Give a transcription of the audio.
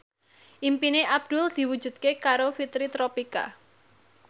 impine Abdul diwujudke karo Fitri Tropika